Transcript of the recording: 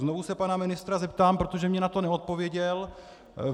Znovu se pana ministra zeptám, protože mi na to neodpověděl.